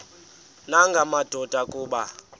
nanga madoda kuba